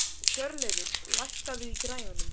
Hjörleifur, lækkaðu í græjunum.